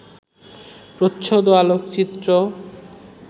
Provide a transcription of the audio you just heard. প্রচ্ছদ ও আলোকচিত্র